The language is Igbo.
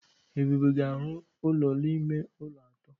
Ebube ga-arụ ụlọ ime ụlọ atọ.